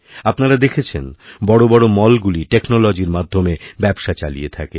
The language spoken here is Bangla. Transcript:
আপনারা দেখেছেন বড় বড় মল গুলি টেকনোলজিরমাধ্যমে ব্যবসা চালিয়ে থাকে